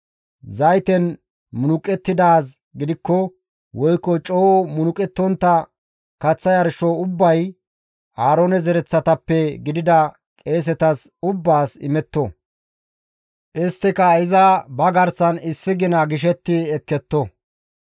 Zayten munuqettidaaz gidikko woykko coo munuqettontta kaththa yarsho ubbay Aaroone zereththatappe gidida qeesetas ubbaas imetto; isttika iza ba garsan issi gina gishetti ekketto.